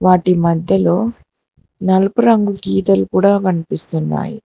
వాటి మధ్యలో నలుపు రంగు గీతలు కూడా కనిపిస్తున్నాయి.